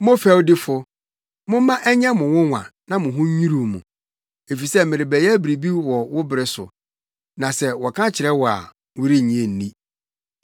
“ ‘Mo fɛwdifo! Momma ɛnyɛ mo nwonwa na mo ho nnwiriw mo! Efisɛ merebɛyɛ biribi wɔ wo bere so, na sɛ wɔka kyerɛ wo a, worennye nni!’ ”